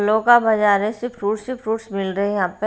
लोका बाजार है सिर्फ फ्रूट्स ही फ्रूट्स मिल रहे हैं यहां पे।